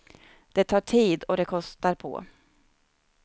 Det tar tid, och det kostar på.